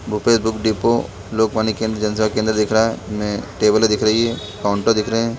Bhupesh book depot Lokvani केंद्र जनसेवा केंद्र दिख रहा है में टेबल दिख रही है काउंटर दिख रहे है।